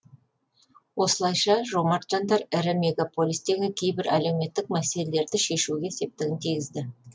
осылайша жомарт жандар ірі мегаполистегі кейбір әлеуметтік мәселелерді шешуге септігін тигізді